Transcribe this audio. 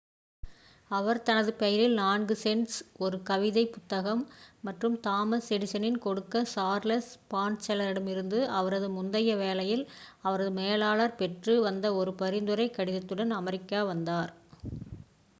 அவர் தனது பெயரில் 4 சென்ட்ஸ் ஒரு கவிதைப் புத்தகம் மற்றும் தாமஸ் எடிசனிடம் கொடுக்க சார்லஸ் பாட்செலரிடமிருந்துஅவரது முந்தைய வேலையில் அவரது மேலாளர் பெற்று வந்த ஒரு பரிந்துரைக் கடிதத்துடன் அமெரிக்கா வந்தார்